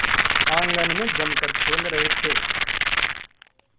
आंगन में जमकर खेल रहे थे